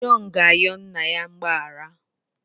Jọn ga-ayọ nna ya mgbaghara.